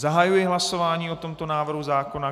Zahajuji hlasování o tomto návrhu zákona.